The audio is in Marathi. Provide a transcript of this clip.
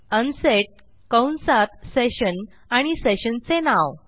अनसेट कंसात सेशन आणि sessionचे नाव